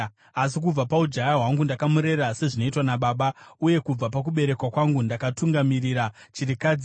asi kubva paujaya hwangu ndakamurera sezvinoitwa nababa, uye kubva pakuberekwa kwangu ndakatungamirira chirikadzi,